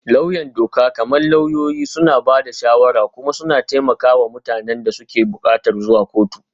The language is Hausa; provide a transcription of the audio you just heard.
Lauyan doka, kamar lauyoyi, suna ba da shawara kuma suna taimaka wa mutanen da suke buƙatar zuwa kotu.